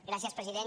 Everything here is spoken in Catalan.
gràcies president